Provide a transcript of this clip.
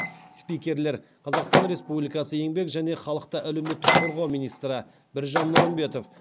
спикерлер қазақстан республикасы еңбек және халықты әлеуметтік қорғау министрі біржан нұрымбетов